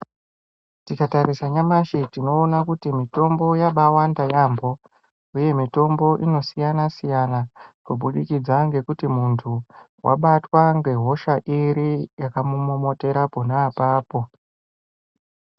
Tikatarisa nyamashi tinona kuti mitombo yabawanda yaamho, uye mitombo inosiyana-siyana. Kubudikidza ngekuti muntu vabatwa ngehosha iri yakamumomotera panaapapo.